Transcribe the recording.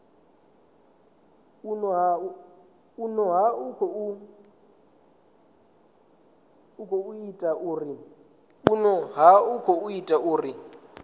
vhune ha khou ḓa uri